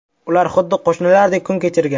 Ular xuddi qo‘shnilardek kun kechirgan.